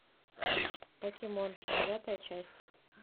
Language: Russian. покемон девятая часть